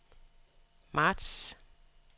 marts